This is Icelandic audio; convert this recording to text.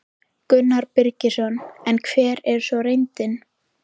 Gunnar Birgisson: En hver er svo reyndin?